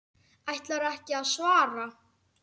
Ætlarðu ekki að svara?